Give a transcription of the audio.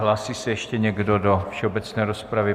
Hlásí se ještě někdo do všeobecné rozpravy?